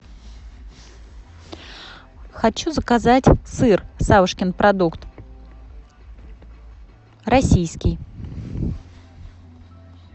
хочу заказать сыр савушкин продукт российский